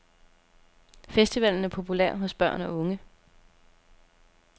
Festivalen er populær hos børn og unge.